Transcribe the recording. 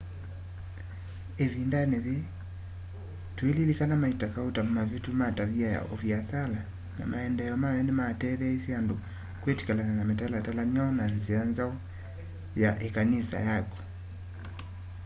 ivindani yii tuililikana maita kauta mavitu ma tavia ya uviasala na maendeeo mayo ni mateetheisye andu kwitikilana na mitalatala myeu na nzia nzau ya ikanisa yaku